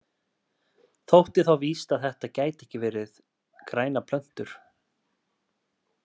Þótti þá víst að þetta gætu ekki verið grænar plöntur.